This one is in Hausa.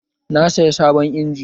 Na saya sabon injin